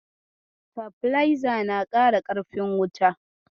Sitabileza na ƙara ƙarfin wuta.